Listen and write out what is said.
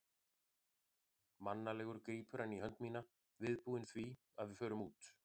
Mannalegur grípur hann í hönd mína, viðbúinn því að við förum út.